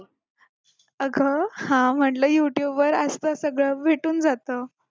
अगं हा म्हटलं youtube वर असतं सगळं भेटून जात